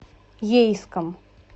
ейском